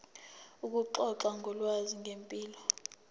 ukuxoxa ngolwazi ngempilo